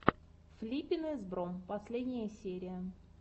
флиппин из бро последняя серия